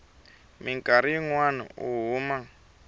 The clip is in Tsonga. mikarhi yin wana u huma